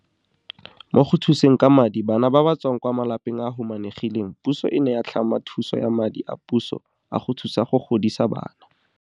Mo go thuseng ka madi bana ba ba tswang kwa malapeng a a humanegileng puso e ne ya tlhama thuso ya madi a puso a go thusa go godisa bana.